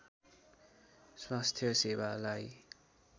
स्वास्थ्य सेवालाई